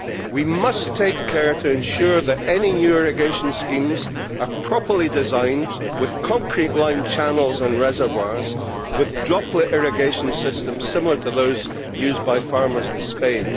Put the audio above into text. We must take care to ensure that any new irrigation schemes are properly designed, with concrete lined channels and reservoirs, and droplet irrigation systems similar to those used by farmers in Spain.